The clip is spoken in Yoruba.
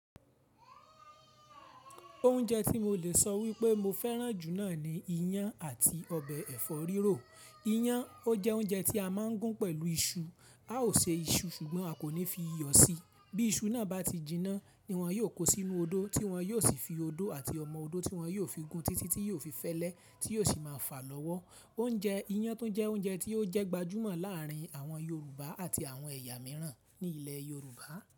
Oúnjẹ tí mo lè sọ wípé mo fẹ́ràn jù náà ni iyán àti ọbẹ̀ ẹ̀fọ́ rírò. Iyán ó jẹ́ oúnjẹ tí a máa ń gún pẹ̀lú iṣu. A ó ṣe iṣu ṣùgbọ́n a kò ní fi iyọ̀ sí bí iṣu náà bá ti jiná ni wọn yóò kó sínú odó tí wọn yóò sì fi odó àti ọmọ odó tí wọn yóò fi gún títí tí yóò fi fẹ́lẹ́ tí yóò sì máa fà lọ́wọ́. Oúnjẹ iyán tún jẹ́ oúnjẹ tí ó jẹ́ gbajúmọ̀ láàrin àwọn Yorùbá àti àwọn ẹ̀yà mìíràn ní ilẹ̀ Yorùbá.